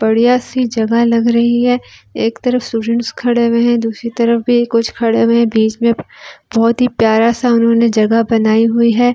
बढ़िया सी जगह लग रही है एक तरफ़ सुजून खड़े हुए है दूसरी तरफ़ भी कुछ खड़े हुए है बहुती प्यारा सा उन्होंने जगह बनाया हुआ है ब--